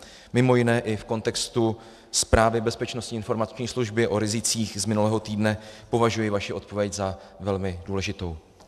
Mimo jiné i v kontextu zprávy Bezpečnostní informační služby o rizicích z minulého týdne považuji vaši odpověď za velmi důležitou.